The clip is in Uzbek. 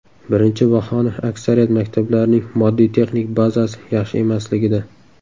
Birinchi bahona aksariyat maktablarning moddiy-texnik bazasi yaxshi emasligida.